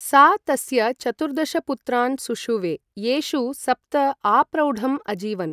सा तस्य चतुर्दशपुत्रान् सुषुवे, येषु सप्त आप्रौढम् अजीवन्।